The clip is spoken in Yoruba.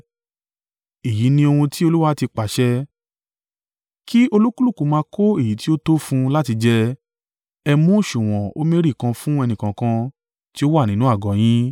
Èyí ni ohun tí Olúwa ti pàṣẹ, ‘Kí olúkúlùkù máa kó èyí ti ó tó fún un láti jẹ. Ẹ mú òsùwọ̀n omeri kan fún ẹnìkọ̀ọ̀kan ti ó wà nínú àgọ́ yín.’ ”